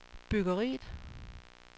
byggeriet